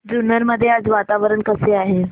जुन्नर मध्ये आज वातावरण कसे आहे